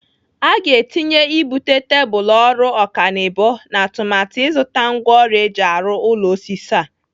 Aga etinye ibute tebụl ọrụ ọkanibo n'atụmatụ ịzụta ngwaọrụ eji arụ ụlọ osisi a.